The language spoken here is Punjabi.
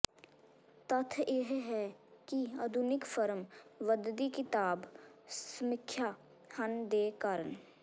ਤੱਥ ਇਹ ਹੈ ਕਿ ਆਧੁਨਿਕ ਫਰਮ ਵਧਦੀ ਕਿਤਾਬ ਸਮੀਖਿਆ ਹਨ ਦੇ ਕਾਰਨ